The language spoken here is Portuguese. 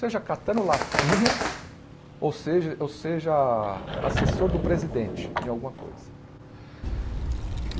Seja catando latinha ou seja ou seja assessor do presidente de alguma coisa.